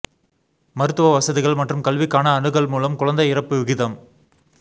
மருத்துவ வசதிகள் மற்றும் கல்விக்கான அணுகல் மூலம் குழந்தை இறப்பு விகிதம்